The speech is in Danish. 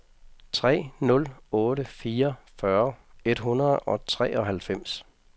tre nul otte fire fyrre et hundrede og treoghalvfems